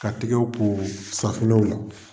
Ka tigɛw ko safinɛw la.